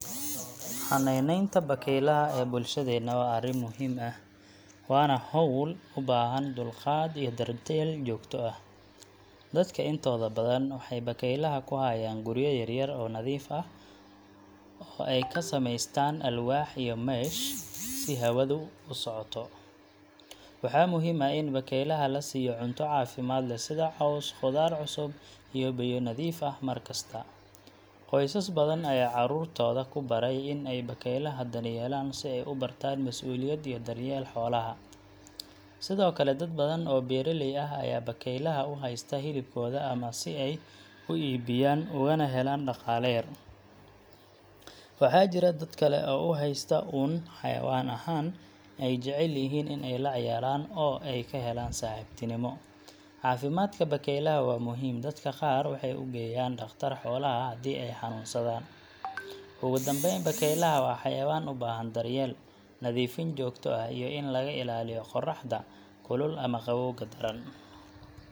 Xanaanaynta bakaylaha ee bulshadeena waa arrin muhiim ah, waana hawl u baahan dulqaad iyo daryeel joogto ah. Dadka intooda badan waxay bakaylaha ku hayaan guryo yar yar oo nadiif ah, oo ay ka samaysteen alwaax iyo mesh si hawadu u socoto. Waxaa muhiim ah in bakaylaha la siiyo cunto caafimaad leh sida caws, khudaar cusub, iyo biyo nadiif ah mar kasta. Qoysas badan ayaa carruurtooda ku baray in ay bakaylaha daryeelaan si ay u bartaan mas’uuliyad iyo daryeel xoolaha. Sidoo kale, dad badan oo beeraley ah ayaa bakaylaha u haysta hilibkooda ama si ay u iibiyaan ugana helaan dhaqaale yar. Waxaa jira dad kale oo u haysta uun xayawaan ahaan, ay jecel yihiin in ay la ciyaaraan oo ay ka helaan saaxiibtinimo. Caafimaadka bakaylaha waa muhiim dadka qaar waxay u geeyaan dhakhtar xoolaha haddii ay xanuunsadaan. Ugu dambeyn, bakaylaha waa xayawaan u baahan daryeel, nadiifin joogto ah, iyo in laga ilaaliyo qorraxda kulul ama qabowga daran.